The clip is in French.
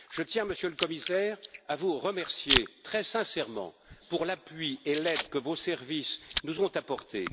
Je tiens, Monsieur le Commissaire, à vous remercier très sincèrement pour l'appui et l'aide que vos services nous ont apportés.